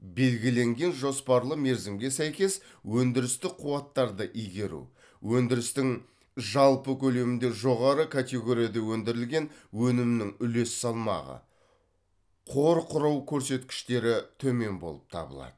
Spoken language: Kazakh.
белгіленген жоспарлы мерзімге сәйкес өндірістік қуаттарды игеру өндірістің жалпы көлемінде жоғары категорияда өндірілегн өнімнің үлес салмағы қор құрау көрсеткіштері төмен болып табылады